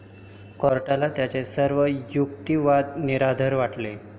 कोर्टाला त्याचे सर्व युक्तिवाद निराधार वाटले.